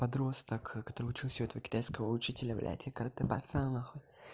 подросток который учился у этого китайского учителя блять и каратэ пацан нахуй